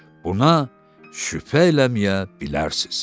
Buna şübhə eləməyə bilərsiz.